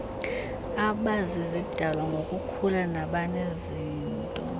abazizidalwa ngokukhula nabanezinto